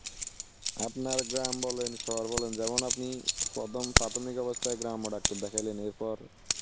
আপনার গ্রাম বলেন শহর বলেন যেমন আপনি প্রথম প্রাথমিক অবস্থায় গ্রাম্য Doctor দেখাইলেন এরপর